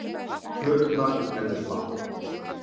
Plöturnar með Bubba